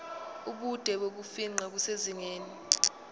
ubude bokufingqa kusezingeni